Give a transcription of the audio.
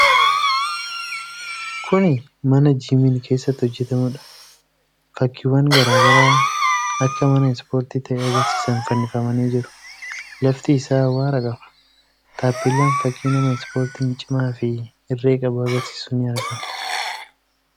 Kuni mana Jiimiin keessatti hojjatamudha. Fakkiiwwan garaa garaa akka mana ispoortii ta'e agarsiisan fannifamanii jiru. Lafti isaa awwaara qaba. Taappellaan fakkii nama ispoortiin cimaa fi irree qabu agarsiisu ni argama.